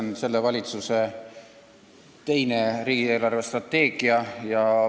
See on selle valitsuse teine riigi eelarvestrateegia.